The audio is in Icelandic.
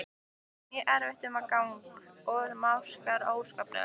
Honum er mjög erfitt um gang og másar óskaplega.